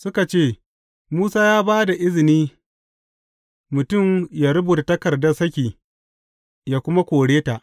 Suka ce, Musa ya ba da izini mutum yă rubuta takardar saki, yă kuma kore ta.